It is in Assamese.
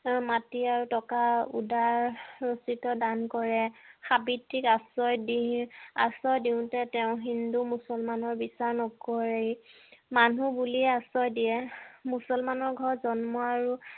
মাটি আৰু টকা উদাৰ ৰূপিত দান কৰে সাৱিত্ৰীক আশ্ৰয় দি আশ্ৰয় দিওঁতে হিন্দু মুছলমানৰ বিচাৰ নকৰে মানুহ বুলি আশ্ৰয় দিয়ে মুছলমানৰ ঘৰত জন্ম আৰু